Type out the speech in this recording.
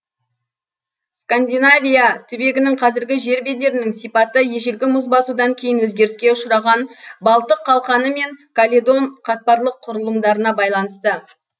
скандинавия түбегінің қазіргі жер бедерінің сипаты ежелгі мұз басудан кейін өзгеріске ұшыраған балтық қалқаны мен каледон қатпарлық құрылымдарына байланысты